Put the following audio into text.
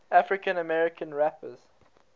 african american rappers